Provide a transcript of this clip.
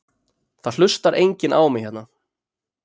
Það hlustar enginn á mig hérna.